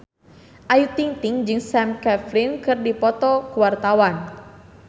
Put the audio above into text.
Ayu Ting-ting jeung Sam Claflin keur dipoto ku wartawan